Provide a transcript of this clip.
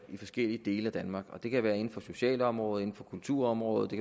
forskellige dele af danmark det kan være inden for socialområdet kulturområdet